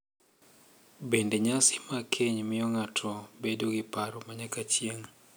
Bende, nyasi mag keny miyo ng’ato bedo gi paro ma nyaka chieng’.